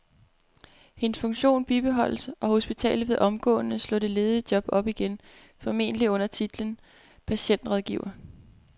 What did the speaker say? Hendes funktion bibeholdes, og hospitalet vil omgående slå det ledige job op igen, formentlig under titlen patientrådgiver.